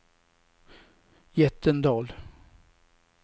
Jättendal